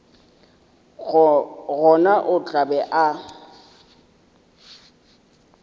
gona o tla be a